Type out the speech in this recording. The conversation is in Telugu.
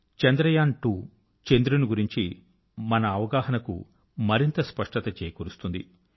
చంద్రయాన్2 చంద్రుని గురించి మన అవగాహనకు మరింత స్పష్టత చేకూర్చుతుంది